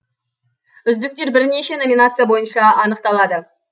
үздіктер бірнеше номинация бойынша анықталады